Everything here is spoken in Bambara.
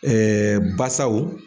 basaw